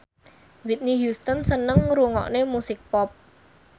Whitney Houston seneng ngrungokne musik pop